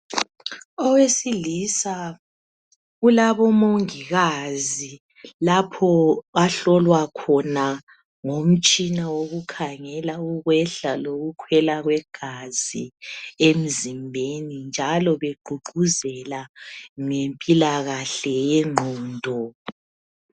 Owesilisa kulabomongikazi lapho ahlolwa khona ngomtshina wokukhangela ukwehla lokukhwela kwegazi emzimbeni njalo begqugquzela ngempilakahle yengqondo.